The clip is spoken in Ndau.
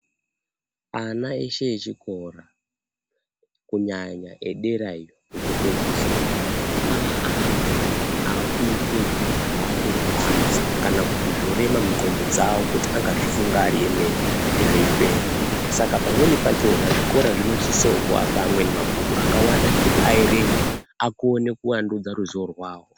Ana eshe echikora kunyanya edera iyo kokupedzesera aantu aakuite zviro zvaakurwadza kana kuti zvorema mundxondo dzavo kuti angazvifunga ari emene zveipera. Saka pamweni pachona zvikora zvinosisowo kuapa amweni mabhuku akawanda ekuti aerenga, akone kuandudza ruzivo rwavo.